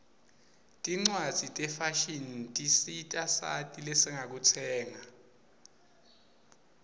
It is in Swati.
tincwaszi tefashini tisita sati zesingakutsenga